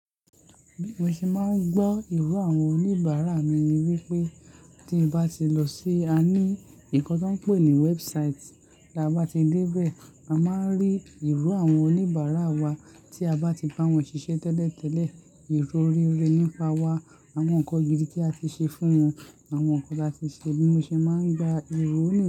Bí mo ṣe máa ń gbọ́ iró àwọn oníbàárà mi ni wípé tí mo bá ti lọ sí à ní ìkàn tí wọ́n ń pè ní website, tí a bá ti dé bẹ́ẹ̀, a máa ń rí iró àwọn oníbàárà wa tí a bá ti bá wọn ṣiṣẹ́ tẹ́lẹ̀tẹ́lẹ̀, ìrọríre nípa wa, àwọn nǹkan gidi tí a ti ṣe fún wọn, àwọn nǹkan tí a ti ṣe, bí mo ṣe máa ń gba irú òní.